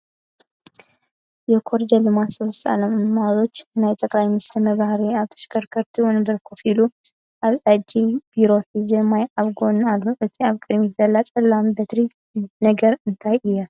የኮረደር ልማት ሶስቱ ዓላማዎች ናይ ጠቅላይ ሚኒስቴር መብራህርሂ ኣብ ተሽከርካሪ ወንበር ኮፍ ኢሉ ኣብ ኢደየ ቢሮ ሒዙ ማይ ኣብ ጎኑ ኣሎ። እታ ኣብ ቅድሚቱ ዘላ ፀላም በትሪ ነገር እንታይ እያ ?